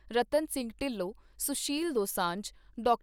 Ratan Singh Dhillon, Sushil Dosanjh, doctor